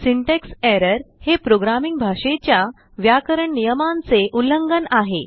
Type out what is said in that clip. syntax errorहे programming भाषेच्या व्याकरण नियमांचे उल्लंघन आहे